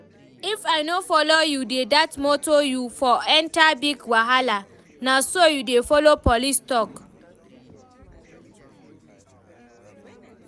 If I no follow you dey dat motor you for enter big wahala, na so you dey follow police talk?